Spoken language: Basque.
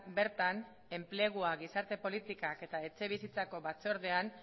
bertan enplegua gizarte politikak eta etxebizitzako batzordean